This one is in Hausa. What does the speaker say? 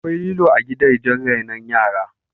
Akwai lilo a gidajen rainon yara